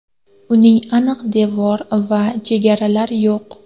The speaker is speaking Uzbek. Uning aniq devor va chegaralar yo‘q.